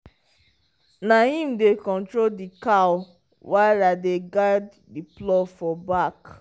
na him dey control the cow while i dey guide the plow for back.